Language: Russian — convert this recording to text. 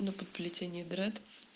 ну под плетение дред